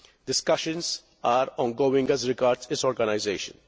Discussions are ongoing as regards its organisation.